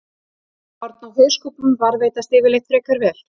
Horn á hauskúpum varðveitast yfirleitt frekar vel.